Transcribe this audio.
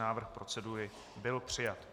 Návrh procedury byl přijat.